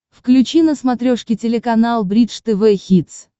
включи на смотрешке телеканал бридж тв хитс